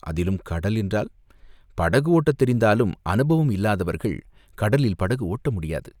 அதிலும் கடல் என்றால், படகு ஓட்டத் தெரிந்தாலும் அனுபவம் இல்லாதவர்கள் கடலில் படகு ஓட்ட முடியாது.